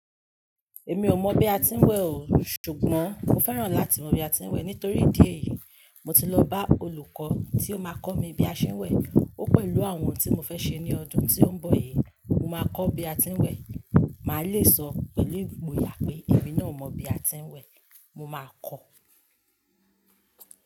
Èmi ò mọ̀ bí a ti ń wẹ̀ oo ṣùgbọ́n mo fẹ́ràn láti mọ bí a ti ń wẹ̀. Nítorí ìdí èyí, mo ti lọ bá olùkọ́ tí ó máa kọ mí bí a ṣe ń wẹ̀. Ó pẹ̀lú àwọn ohun tí mo fẹ́ ṣe ní ọdún tí ó ń bọ̀ yìí. Mo máa kọ́ bí a ti ń wẹ̀. Màá le sọ pèlu igbo yà pé èmi náà mọ bí a ti ń wẹ̀. Mo máa kọ́